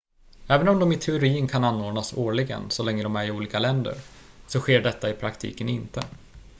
även om de i teorin kan anordnas årligen så länge de är i olika länder så sker detta i praktiken inte